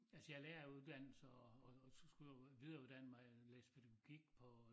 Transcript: Altså jeg er læreruddannet så og og så skule jeg videreuddanne mig læse pædagogik på